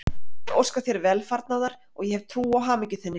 Ég óska þér velfarnaðar og ég hef trú á hamingju þinni.